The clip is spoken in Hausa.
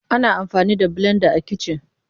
Ana amfani da blenda a kici.